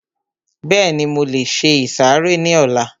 Bẹ́ẹ̀ni, mo lè se ìsàrẹ́ ní ọlá